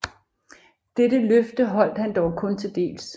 Dette løfte holdt han dog kun til dels